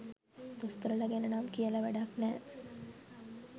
දොස්තරලා ගැන නම් කියල වැඩක් නෑ.